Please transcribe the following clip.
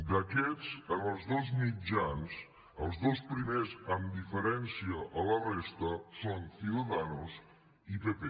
d’aquests en els dos mitjans els dos primers amb diferència a la resta són ciudadanos i pp